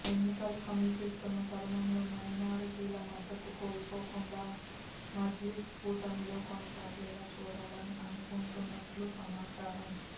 ఎన్నికలు సమీపిస్తున్న తరుణంలో మైనారిటీల మద్దతు కోల్పోకుండా మజ్లీస్ కూటమిలో కొనసాగేలా చూడాలని అనుకుంటున్నట్లు సమాచారం